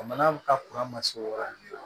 Jamana ka ma se o yɔrɔ de la